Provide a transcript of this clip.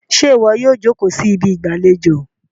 ṣe iwọ yíò joko sí Ibi ìgbàlejò?